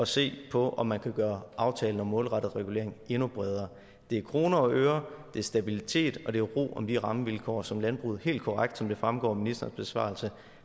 se på om man kan gøre aftalen om målrettet regulering endnu bredere det er kroner og øre det er stabilitet og det giver ro om de rammevilkår som landbruget helt korrekt som det fremgår af ministerens besvarelse